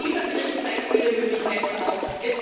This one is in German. Ich glaube, dieser Bericht zeigt viele Möglichkeiten auf.